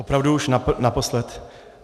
Opravdu už naposled.